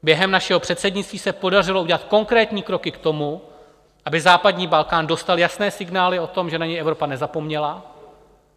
Během našeho předsednictví se podařilo udělat konkrétní kroky k tomu, aby západní Balkán dostal jasné signály o tom, že na něj Evropa nezapomněla.